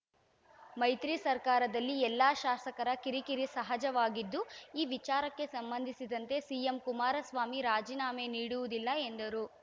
ಮೈತ್ರಿ ಸರ್ಕಾರದಲ್ಲಿ ಎಲ್ಲ ಶಾಸಕರ ಕಿರಿಕಿರಿ ಸಹಜವಾಗಿದ್ದು ಈ ವಿಚಾರಕ್ಕೆ ಸಂಬಂಧಿಸಿದಂತೆ ಸಿಎಂ ಕುಮಾರಸ್ವಾಮಿ ರಾಜೀನಾಮೆ ನೀಡುವುದಿಲ್ಲ ಎಂದರು